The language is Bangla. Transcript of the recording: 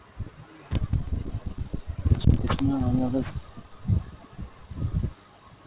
না আমাদের